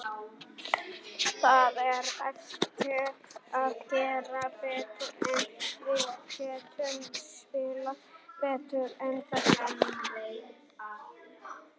Það er erfitt að gera betur, en við getum spilað betur en þetta.